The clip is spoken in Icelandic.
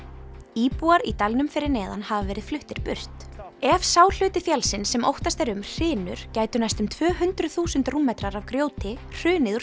íbúar í dalnum fyrir neðan hafa verið fluttir burt ef sá hluti fjallsins sem óttast er um hrynur gætu næstum tvö hundruð þúsund rúmmetrar af grjóti hrunið úr